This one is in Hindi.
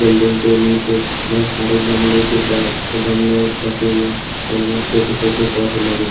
बिल्डिंग के नीचे बहुत सारे गमले के गमले रखे हुए हैं इनमें छोटे छोटे पौधे लगे हु--